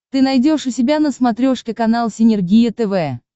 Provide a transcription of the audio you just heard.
ты найдешь у себя на смотрешке канал синергия тв